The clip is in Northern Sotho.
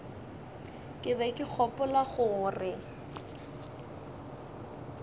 ke be ke gopola gore